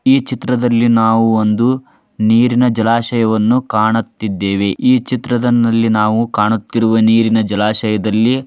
ಈ ಚಿತ್ರದಲ್ಲಿ ನಾವು ಒಂದು ನೀರಿನ ಜಲಾಶಯವನ್ನು ಕಾಣುತ್ತಿದ್ದೇವೆ ಈ ಚಿತ್ರಣದಲ್ಲಿ ಕಾಣುತ್ತಿರುವ ನೀರಿನ ಜಲಾಶಯದಲ್ಲಿ--